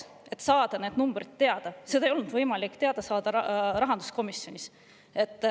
Rahanduskomisjonis ei olnud võimalik neid numbreid teada saada.